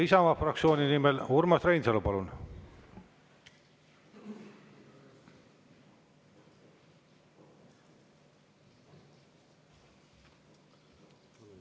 Isamaa fraktsiooni nimel Urmas Reinsalu, palun!